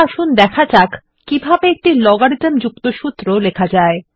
আসুন এখন দেখা যাক কিভাবে একটি লোগারিথম যুক্ত সূত্র লেখা যায়